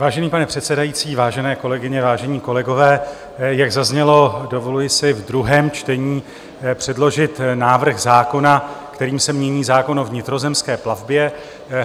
Vážený pane předsedající, vážené kolegyně, vážení kolegové, jak zaznělo, dovoluji si v druhém čtení předložit návrh zákona, kterým se mění zákon o vnitrozemské plavbě.